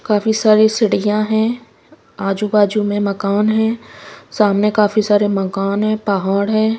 काफी सारी सीढ़ियां है आजू बाजू में मकान है सामने काफी सारे मकान है पहाड़ है।